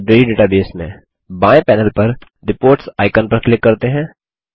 library database में बाएँ panel पर रिपोर्ट्स आइकन पर क्लिक करते हैं